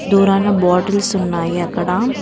దూరాన బాటిల్స్ ఉన్నాయి అక్కడ --